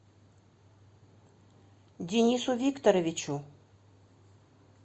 денису викторовичу